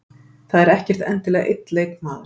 Það er ekkert endilega einn leikmaður.